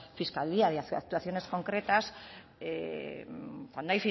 fiscalía y actuaciones concretas cuando